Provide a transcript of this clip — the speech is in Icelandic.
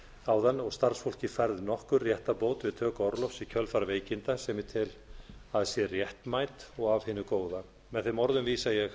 áðan og starfsfólki færð nokkur réttarbót við töku orlofs í kjölfar veikinda sem ég tel að sé réttmæt og af hinu góða með þeim orðum óska ég